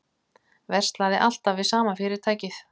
Verslaði alltaf við sama fyrirtækið